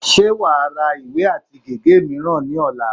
Ṣé wà á ra ìwé àti gègé mìíràn ní ọ̀la?